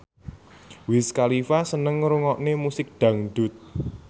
Wiz Khalifa seneng ngrungokne musik dangdut